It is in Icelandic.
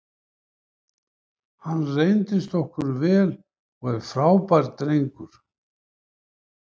Hann reyndist okkur vel og er frábær drengur.